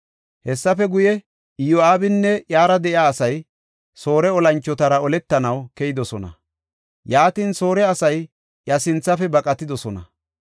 Hessafe guye, Iyo7aabinne iyara de7iya asay Soore olanchotara oletanaw keyidosona. Yaatin, Soore asay iya sinthafe baqatidosona.